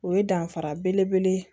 O ye danfara bele bele ye